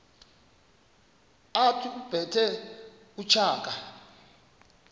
othi ubethe utshaka